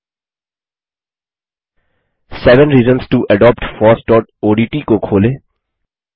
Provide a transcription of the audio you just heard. seven reasons to adopt fossओडीटी को खोलें